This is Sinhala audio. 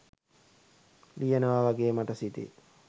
ලියනවා වගේ මට සිතේ